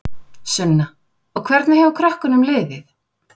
Sunna: Og hvernig hefur krökkunum liðið?